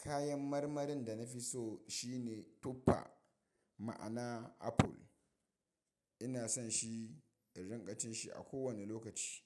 Kayan marmarin da na fi so shine tuffa, ma'ana apple. Ina son shi, in riƙa cin shi a kowane lokaci.